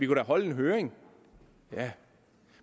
kunne holde en høring ja